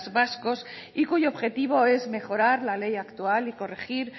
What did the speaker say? vascos y cuyo objetivo es mejorar la ley actual y corregir